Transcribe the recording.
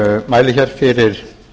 mæli fyrir